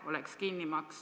Austatud minister!